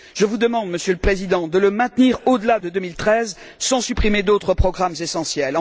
Je vous demande, Monsieur le Président, de le maintenir au delà de 2013 sans supprimer d'autres programmes essentiels.